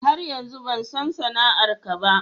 Har yanzu ban san sana'ar ka ba.